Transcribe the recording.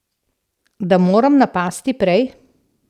Da moram napasti prej.